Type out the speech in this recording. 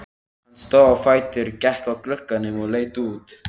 Hann stóð á fætur, gekk að glugganum og leit út.